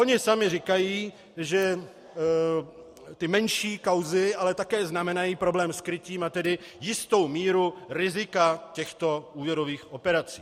Oni sami říkají, že ty menší kauzy ale také znamenají problém s krytím, a tedy jistou míru rizika těchto úvěrových operací.